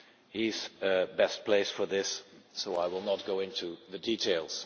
He is best placed for this, so I will not go into the details.